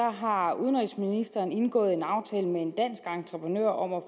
har udenrigsministeren indgået en aftale med en dansk entreprenør om at